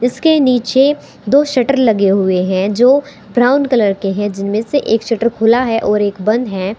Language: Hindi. इसके नीचे दो शटर लगे हुए हैं जो ब्राउन कलर के हैं जिनमें से एक शटर खुला है और एक बंद है।